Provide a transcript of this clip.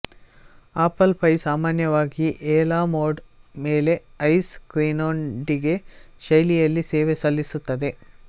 apple pie ಸಾಮಾನ್ಯವಾಗಿ a la mode ಮೇಲೆ ice ಕ್ರೀಂನೊಂದಿಗೆ ಶೈಲಿಯಲ್ಲಿ ಸೇವೆ ಸಲ್ಲಿಸುತ್ತದೆ